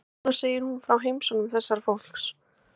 Núna segir hún frá heimsóknum þessa fólks.